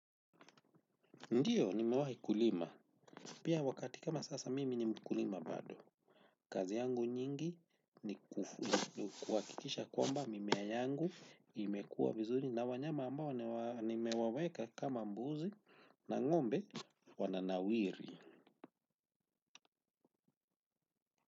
Ndio nimewahi kulima. Pia wakati kama sasa mimi nimkulima bado. Kazi yangu nyingi ni kuakikisha kwamba mimea yangu imekua vizuri na wanyama ambao nimewaweka kama mbuzi na ngombe wananawiri.